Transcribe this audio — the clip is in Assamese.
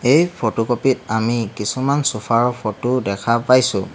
এই ফটোকপি ত আমি কিছুমান চোফা ৰ' ফটো দেখা পাইছোঁ।